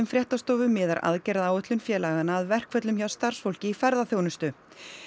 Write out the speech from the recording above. fréttastofu miðar aðgerðaáætlun félaganna að verkföllum hjá starfsfólki í ferðaþjónustu